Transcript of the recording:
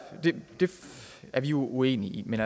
er vi uenige men